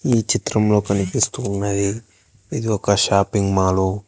ఈ చిత్రంలో కనిపిస్తున్నది ఇది ఒక షాపింగ్ మాలు .